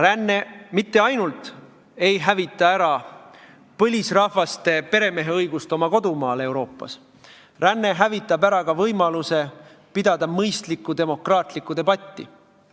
Ränne mitte ainult ei hävita ära põlisrahvaste peremeheõigust oma kodumaal Euroopas, ränne hävitab ära ka võimaluse pidada mõistlikku demokraatlikku debatti.